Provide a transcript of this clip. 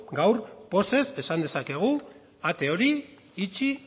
gaur pozez esan dezakegu ate hori itxi